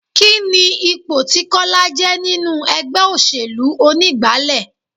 Kini ipò tí Kọ́lá je nínú ẹgbẹ́ òṣèlú onígbálé?